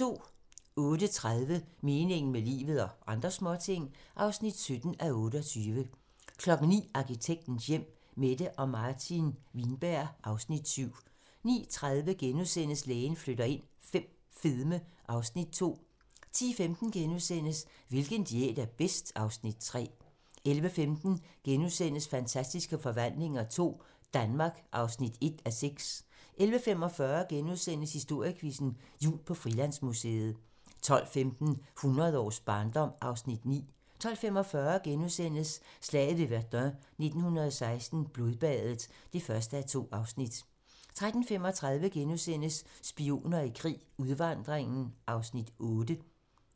08:30: Meningen med livet - og andre småting (17:28) 09:00: Arkitektens hjem: Mette og Martin Wienberg (Afs. 7) 09:30: Lægen flytter ind V - fedme (Afs. 2)* 10:15: Hvilken diæt er bedst? (Afs. 3)* 11:15: Fantastiske forvandlinger II - Danmark (1:6)* 11:45: Historiequizzen: Jul på Frilandsmuseet * 12:15: Hundrede års barndom (Afs. 9) 12:45: Slaget ved Verdun 1916 - Blodbadet (1:2)* 13:35: Spioner i krig: Udvandringen (Afs. 8)*